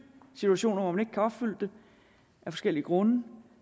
situationer hvor man ikke kan opfylde det af forskellige grunde